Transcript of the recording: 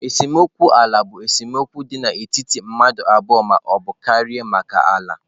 Esemokwu ala bụ esemokwu dị n'etiti mmadụ abụọ ma ọ bụ karịa maka ala.